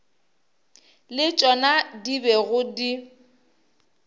le tšona di bego di